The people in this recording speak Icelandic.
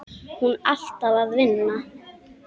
Hún alltaf að vinna.